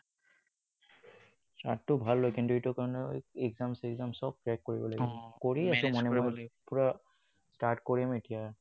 Start তো ভাল হয় কিন্তু ইয়াৰ কাৰণে exam চেকজাম চব clear কৰিব লাগিব কৰি আছো মই এনেকুৱা পোৰা start কৰিম এতিয়া।